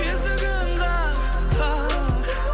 есігін қақ қақ